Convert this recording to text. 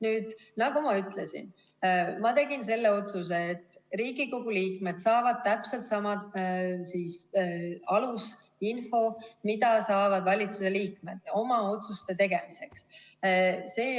Nüüd, nagu ma ütlesin, ma tegin selle otsuse: Riigikogu liikmed saavad täpselt sama alusinfo, mille saavad valitsuse liikmed oma otsuste tegemiseks.